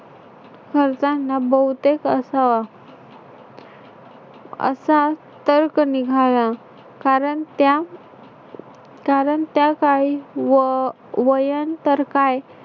खर्चांना बहुतेक असावा. असा तर्क निघाला कारण त्या कारण त्या काही व अह वयं तर्क आहे.